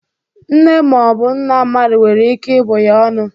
Nne ma ọ bụ nna mmadụ nwere ike ibụ ya ọnụ.